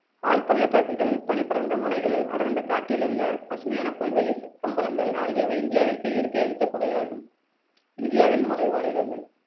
ஆழ்பள்ளத்தாக்குகள் பனிபடர்ந்த மலைகள் அடர்ந்த காட்டில் உள்ள பசுமையான புல்வெளி கம்பளங்கள் ஆகியவை இந்தியாவிற்கு இயற்கை அளித்த கொடையாகும் இந்தியாவின் மலைவாழ் இடங்கள்